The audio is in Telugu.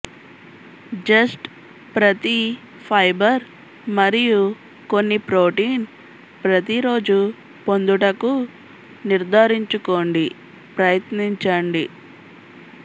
జస్ట్ ప్రతి ఫైబర్ మరియు కొన్ని ప్రోటీన్ ప్రతి రోజు పొందుటకు నిర్ధారించుకోండి ప్రయత్నించండి